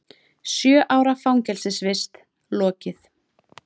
Sjö ára fangelsisvist lokið